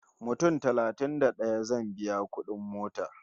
Mutum talatin da ɗaya zan biya kudin mota